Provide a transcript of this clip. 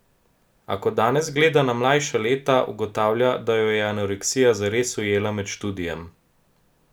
A, ko danes gleda na mlajša leta, ugotavlja, da jo je anoreksija zares ujela med študijem.